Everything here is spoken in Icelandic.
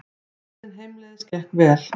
Ferðin heimleiðis gekk vel.